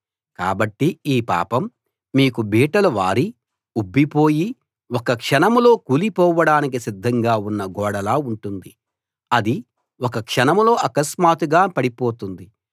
కాబట్టి ఈ పాపం మీకు బీటలు వారి ఉబ్బి పోయి ఒక్క క్షణంలో కూలి పోవడానికి సిద్ధంగా ఉన్న గోడలా ఉంటుంది అది ఒక్క క్షణంలో అకస్మాత్తుగా పడిపోతుంది